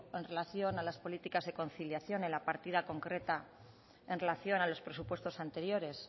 en relación a las políticas de conciliación en la partida concreta en relación a los presupuestos anteriores